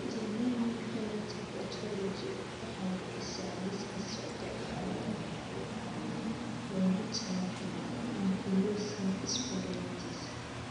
The Human Phenotype Ontology waxay bixisaa liiska soo socda ee calaamadaha iyo calaamadaha loogu talagalay ankylosing spondylitis.